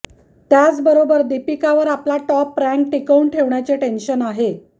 त्याचबरोबर दीपिकावर आपला टॉप रँक टिकवून ठेवण्याचे टेन्शन आहे